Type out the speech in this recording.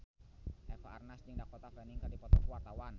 Eva Arnaz jeung Dakota Fanning keur dipoto ku wartawan